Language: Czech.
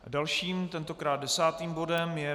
Dalším, tentokrát desátým bodem je